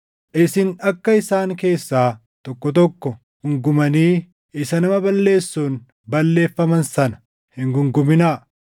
Isin akka isaan keessaa tokko tokko guungumanii isa nama balleessuun balleeffaman sana hin guunguminaa.